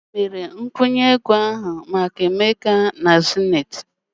Onye mere nkwụnye ego ahụ maka emeka na zenith ụlọ akụ ụnyahụ?